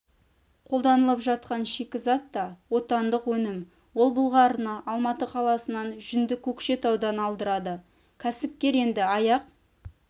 қолданылып жатқан шикізат та отандық өнім ол былғарыны алматы қаласынан жүнді көкшетаудан алдырады кәсіпкер енді аяқ